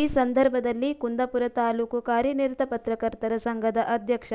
ಈ ಸಂದರ್ಭದಲ್ಲಿ ಕುಂದಾಪುರ ತಾಲೂಕು ಕಾರ್ಯನಿರತ ಪತ್ರಕರ್ತರ ಸಂಘದ ಅಧ್ಯಕ್ಷ